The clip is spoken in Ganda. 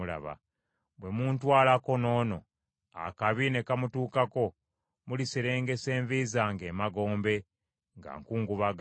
Bwe muntwalako n’ono, akabi ne kamutuukako, muliserengesa envi zange emagombe nga nkungubaga.’